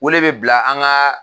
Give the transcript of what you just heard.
Wele bɛ bila an ka